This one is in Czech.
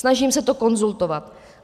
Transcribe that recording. Snažím se to konzultovat.